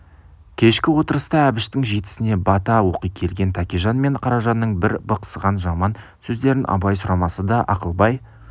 кешкі отырыста әбіштің жетісіне бата оқи келген тәкежан мен қаражанның бір бықсыған жаман сөздерін абай сұрамаса да ақылбай